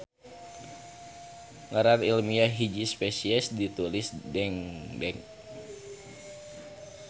Ngaran ilmiah hiji spesies ditulis dengdek.